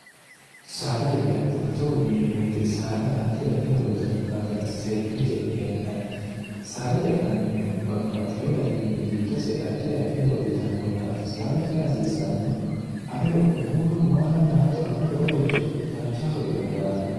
saada hece atto togo yineemmouyite saada addi addi horo uyitanno daafira seekkine ce'ne hee'nanni saada ce'nannihuno babbaxxiyo gariinni giddose addi addi horo uyitannohuraati saada cee hasiissannohu ado muuro maalannaattono wola woloricho dancha horo uyitanno daafira